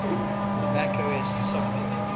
mac os software